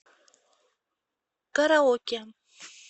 караоке